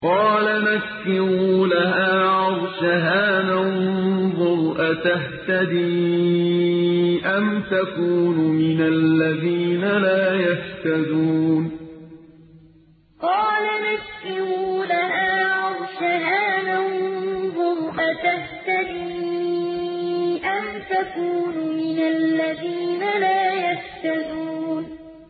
قَالَ نَكِّرُوا لَهَا عَرْشَهَا نَنظُرْ أَتَهْتَدِي أَمْ تَكُونُ مِنَ الَّذِينَ لَا يَهْتَدُونَ قَالَ نَكِّرُوا لَهَا عَرْشَهَا نَنظُرْ أَتَهْتَدِي أَمْ تَكُونُ مِنَ الَّذِينَ لَا يَهْتَدُونَ